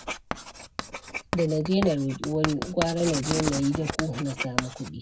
Da na je na roƙi wani, gwara na je na yi dako na sami kuɗi.